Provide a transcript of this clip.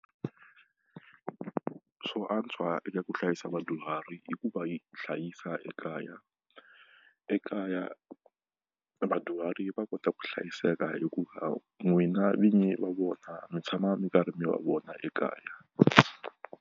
Swo antswa eka ku hlayisa vadyuhari i ku va yi hlayisa ekaya, ekaya vadyuhari va kota ku hlayiseka hikuva n'wina vinyi va vona mi tshama mi karhi mi va vona ekaya.